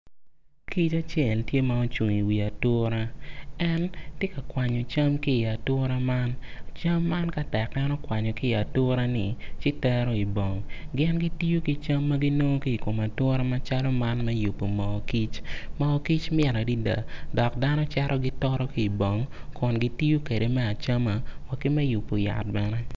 Kic aacel tye ma ocung i wi ature en tye ka kwanyo cam ki i ature man cam man ka tek en okwanyo ki i ature ni ci tero i bong gin gitiyo ki cam ma ki nongo ki ikom ature macalo man me yubo moo kic mo kic mit adada dok dano cito gitoto ki bong kun gitiyo kwede me acama wa ki me yubo yat bene.